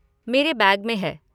मेरे बैग में है।